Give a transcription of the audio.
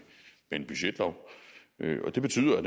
en budgetlov og det betyder at